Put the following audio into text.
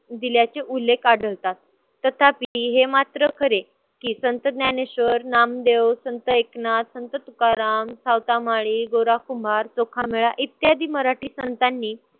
दिल्याचे उल्लेख आढळतात. तथापि हे मात्र खरे की संत ज्ञानेश्वर, नामदेव, संत एकनाथ, संत तुकाराम, सावतामाळी, गोरा कुंभार, चोखामेळा इत्यादि मराठी संतांनी